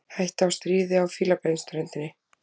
Hætta á stríði á Fílabeinsströndinni